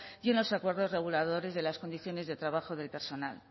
y en los acuerdos reguladores de las condiciones de trabajo del personal